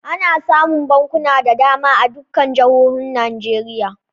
Ana samun bankuna da dama a dukkan jihohi Najeriya.